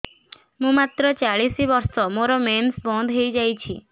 ମୁଁ ମାତ୍ର ଚାଳିଶ ବର୍ଷ ମୋର ମେନ୍ସ ବନ୍ଦ ହେଇଯାଇଛି